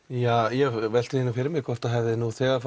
ég velti því fyrir mér hvort það hafi nú þegar